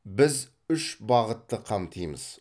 біз үш бағытты қамтимыз